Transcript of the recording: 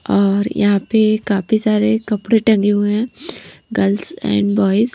और यहां पे काफी सारे कपड़े टंगे हुए हैं गर्ल्स एंड बॉयस --